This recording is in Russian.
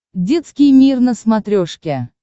детский мир на смотрешке